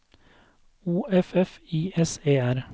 O F F I S E R